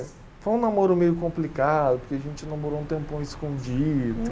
Foi um namoro meio complicado, porque a gente namorou um tempão escondido.